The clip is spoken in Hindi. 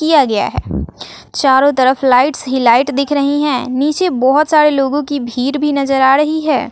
किया गया है चारों तरफ लाइट्स ही लाइट दिख रही है नीचे बहोत सारे लोगों की भीड़ भी नजर आ रही है।